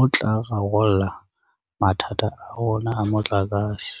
o tla rarolla mathata a rona a motlakase.